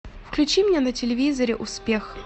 включи мне на телевизоре успех